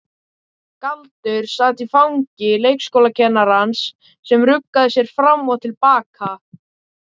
Galdur sat í fangi leikskólakennarans sem ruggaði sér fram og til baka.